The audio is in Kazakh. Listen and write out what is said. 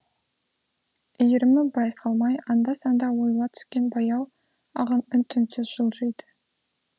иірімі байқалмай анда санда ойыла түскен баяу ағын үн түнсіз жылжиды